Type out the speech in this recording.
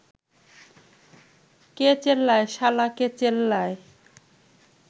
কে চেল্লায় শালা কে চেল্লায়